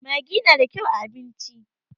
maggi yana da kyau a abinci